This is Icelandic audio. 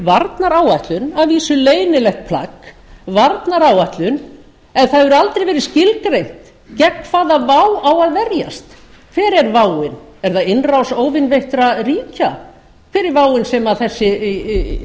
varnaráætlun að vísu leynilegt plagg varnaráætlun en það hefur aldrei verið skilgreint gegn hvaða vá á að verjast hver er váin er það innrás óvinveittra ríkja hver er váin sem þessi